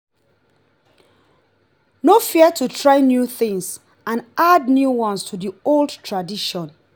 no fear to try new things and add new ones to the old tradition